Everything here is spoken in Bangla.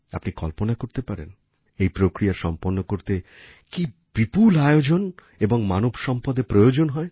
আপনি কল্পনা করতে পারেন এই প্রক্রিয়া সম্পন্ন করতে কী বিপুল আয়োজন ও মানব সম্পদের প্রয়োজন হয়